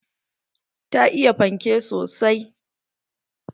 Ta iya fanke sosai